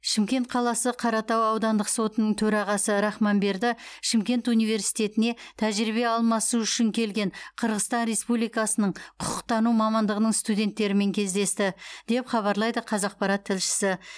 шымкент қаласы қаратау аудандық сотының төрағасы рахманберді шымкент университетіне тәжірибе алмасу үшін келген қырғызстан республикасының құқықтану мамандығының студенттерімен кездесті деп хабарлайды қазақпарат тілшісі